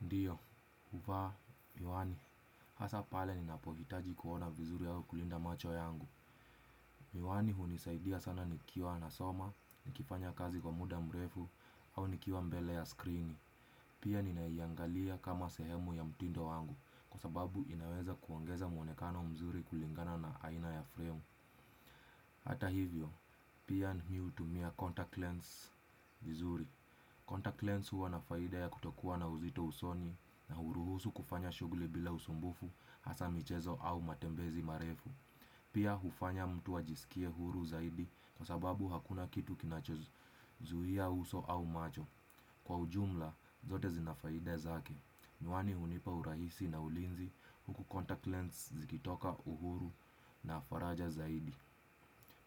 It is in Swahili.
Ndiyo, uvaa, miwani, hasa pale ninapovihitaji kuona vizuri au kulinda macho yangu. Miwani hunisaidia sana nikiwa nasoma, nikifanya kazi kwa muda mrefu, au nikiwa mbele ya skrini. Pia ninaiangalia kama sehemu ya mtindo wangu, kwa sababu inaweza kuongeza mwonekano mzuri kulingana na aina ya frame. Hata hivyo, pia ni miutumia contact lens vizuri. Contact lens huwa na faida ya kutokua na uzito usoni na huruhusu kufanya shuguli bila usumbufu hasa michezo au matembezi marefu. Pia hufanya mtu ajisikie huru zaidi kwa sababu hakuna kitu kinachozuhia uso au macho. Kwa ujumla, zote zina faida zake. Miwani unipa urahisi na ulinzi huku contact lens zikitoka uhuru na faraja zaidi.